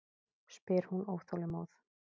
spyr hún óþolinmóð.